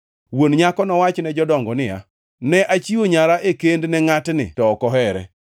Wuon nyako nowach ne jodongo niya, “Ne achiwo nyara e kend ne ngʼatni to ok ohere.